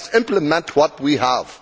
Let us implement what we have.